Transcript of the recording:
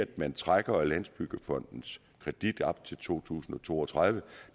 man trækker landsbyggefondens kredit op til to tusind og to og tredive